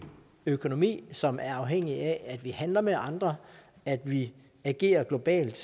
økonomi som er afhængig af at vi handler med andre at vi agerer globalt